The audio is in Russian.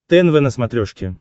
тнв на смотрешке